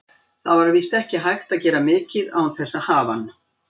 Það var víst ekki hægt að gera mikið án þess að hafa hann.